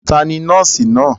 Ta ni nọ́ọ́sì náà?